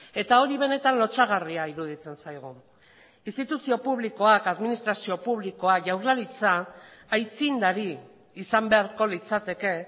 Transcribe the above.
eta hori benetan lotsagarria iruditzen zaigu instituzio publikoak administrazio publikoa jaurlaritza aitzindari izan beharko litzateke